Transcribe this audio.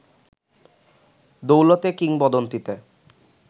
দৌলতে কিংবদন্তীতে